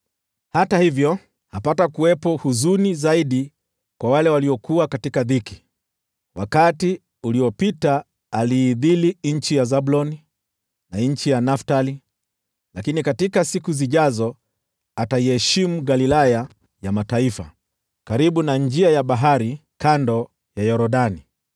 Hata hivyo, hapatakuwepo huzuni tena kwa wale waliokuwa katika dhiki. Wakati uliopita aliidhili nchi ya Zabuloni na nchi ya Naftali, lakini katika siku zijazo ataiheshimu Galilaya ya Mataifa, karibu na njia ya bahari, kando ya Yordani: